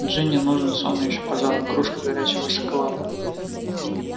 джинни нужен сон и ещё пожалуй кружка горячего шоколада